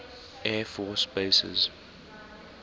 air force bases